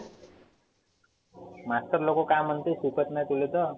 master लोक काय म्हणते? शिकत नाही तुले तर.